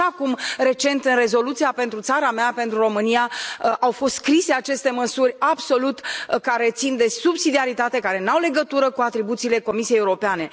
Așa cum, recent, în rezoluția pentru țara mea, pentru România au fost scrise aceste măsuri care țin de subsidiaritate, care nu au legătură cu atribuțiile Comisiei Europene.